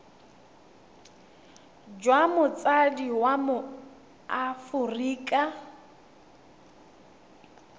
jwa motsadi wa mo aforika